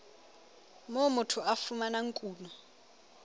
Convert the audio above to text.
moo motho a fumanang kuno